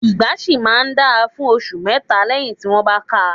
Ìgbá ṣì máa ń dáa fún ọṣù mẹ́tà lẹ́yì tí wọ́n bá káa.